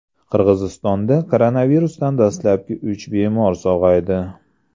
Qirg‘izistonda koronavirusdan dastlabki uch bemor sog‘aydi.